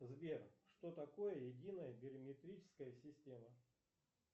сбер что такое единая бирометрическая система